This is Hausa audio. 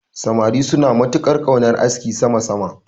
Samari suna matuƙar ƙaunar askin sama sama.